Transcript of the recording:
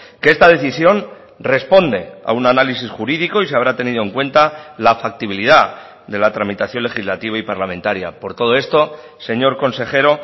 que esta decisión responde a un análisis jurídico y se habrá tenido en cuenta la factibilidad de la tramitación legislativa y parlamentaria por todo esto señor consejero